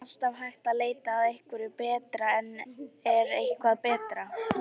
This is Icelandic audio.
Það er alltaf hægt að leita að einhverju betra en er eitthvað betra?